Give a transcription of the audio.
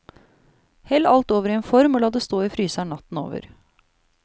Hell alt over i en form og la det stå i fryseren natten over.